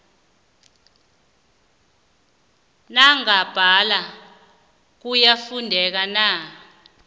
nangambala kuyafuneka na